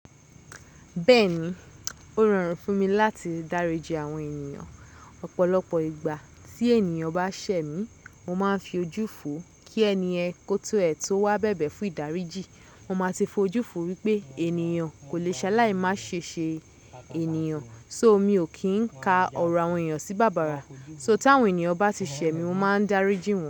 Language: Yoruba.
Bẹ́ẹ̀ni, ó rọrùn fún mi láti dáríji àwọn ènìyàn. Ọ̀pọ̀lọpọ̀ ìgbà tí ènìyàn bá ṣẹ̀ mí, mo máa ń fi ojú fò kí ẹniyen ko ti ẹ̀ tó wá bẹ̀bẹ̀ fún ìdáríjì. Mo máa ti fojú fò wípé ènìyàn kò lè ṣaláì má ṣe ṣe ènìyàn. So mi ò kí ń ka ọ̀rọ̀ àwọn ènìyàn sí bàbàrà. So tí àwọn ènìyàn bá ti ṣẹ̀ mí, mo máa ń dáríji wọn.